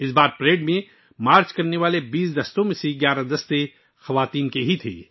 اس بار پریڈ میں مارچ کرنے والے 20 دستوں میں سے 11 خواتین تھیں